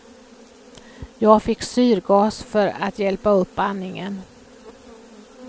Jag fick syrgas för att hjälpa upp andningen.